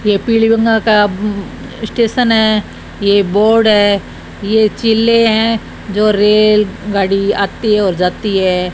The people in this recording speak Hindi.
ये पीली बंगा का स्टेशन है ये बोर्ड है ये जिले हैं जो रेलगाड़ी आती है और जाती है।